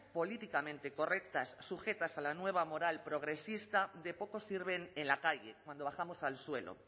políticamente correctas sujetas a la nueva moral progresista de poco sirven en la calle cuando bajamos al suelo